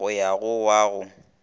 go ya go wa go